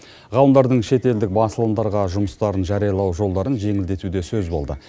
ғалымдардың шетелдік басылымдарға жұмыстарын жариялау жолдарын жеңілдету де сөз болды